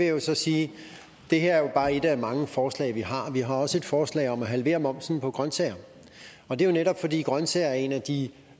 jo så sige at det her bare et af mange forslag vi har vi har også et forslag om at halvere momsen på grøntsager og det er jo netop fordi grøntsager er en af de